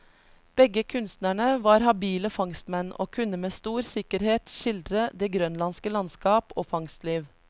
Begge kunstnerne var habile fangstmenn, og kunne med stor sikkerhet skildre det grønlandske landskap og fangstliv.